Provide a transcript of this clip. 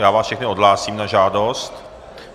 Já vás všechny odhlásím na žádost.